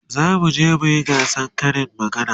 zamu je muyi gasan Karin magana